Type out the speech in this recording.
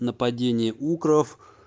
нападение укров